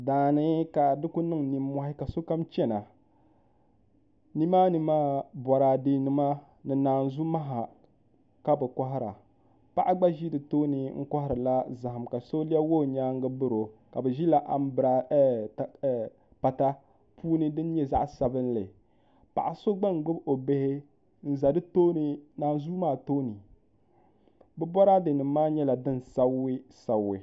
Daani ka bi ku niŋ nimmohi ka sokam chɛna nimaani maa boraadɛ nima ni naazu maha ka bi kohara paɣa gba ʒi bi tooni n koharila zaham ka so lɛbigi o nyaangi biro ka bi ʒila pata puuni din nyɛ zaɣ sabinli paɣa so gba n gbubi o bihi n ʒɛ naanzuu maa tooni bi boraadɛ nim maa nyɛla din sabigi sabigi